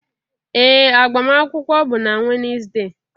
Ee agbamakwụkwọ bụ na Wednesday.